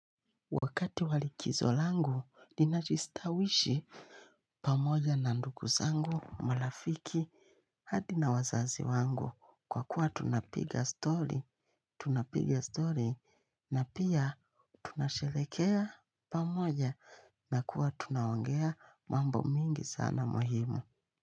Wakati wa likizo langu ninajistawishi. Pamoja na nduku zangu malafiki hadi na wazazi wangu kwa kuwa tunapiga story. Tunapiga story na pia tunashelehekea pamoja na kuwa tunaongea mambo mingi sana muhimu.